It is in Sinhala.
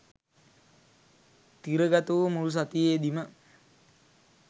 තිරගතවූ මුල් සතියේදිම